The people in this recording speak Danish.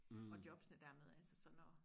og jobsne dermed altså så når